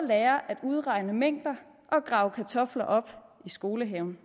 lærer at udregne mængder og grave kartofler op i skolehaven